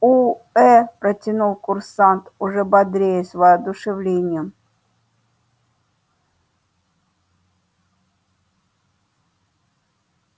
уэээ протянул курсант уже бодрее с воодушевлением